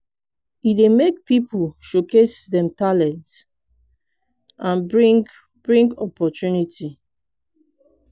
e dey make people showcase dem talent and bring bring opportunity.